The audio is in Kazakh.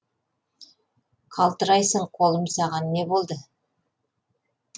қалтырайсың қолым саған не болды